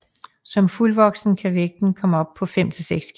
Som fuldvoksen kan vægten komme op på 5 til 6 kg